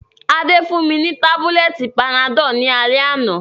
Adé fún mi ni tábúlẹ̀tì panadọ́l ní alẹ́ àná